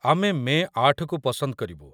ଆମେ ମେ ୮କୁ ପସନ୍ଦ କରିବୁ।